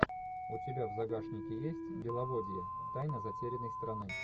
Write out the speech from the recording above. у тебя в загашнике есть беловодье тайна затерянной страны